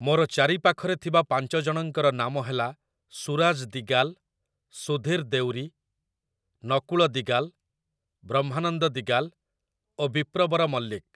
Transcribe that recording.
ମୋର ଚାରିପାଖରେ ଥିବା ପାଞ୍ଚ ଜଣଙ୍କର ନାମ ହେଲା ସୁରାଜ ଦିଗାଲ, ସୁଧୀର ଦେଉରୀ, ନକୁଳ ଦିଗାଲ, ବ୍ରହ୍ମାନନ୍ଦ ଦିଗାଲ ଓ ବିପ୍ରବର ମଲ୍ଲିକ ।